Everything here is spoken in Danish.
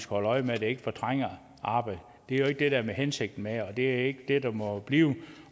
holde øje med at det ikke fortrænger arbejde det er jo ikke det der er hensigten med det og det er ikke det det må blive